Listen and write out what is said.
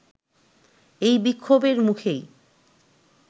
এই বিক্ষোভের মুখেই